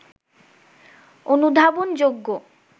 অনুধাবনযোগ্য